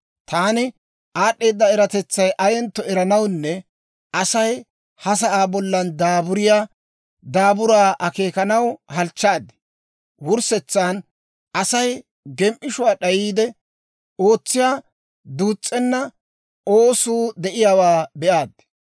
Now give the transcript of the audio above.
Taani aad'd'eeda eratetsay ayentto eranawunne Asay ha sa'aa bollan daaburiyaa daaburaa akeekanaw halchchaad; wurssetsan Asay gem"ishuwaa d'ayiide ootsiyaa duus's'enna oosuu de'iyaawaa be'aad.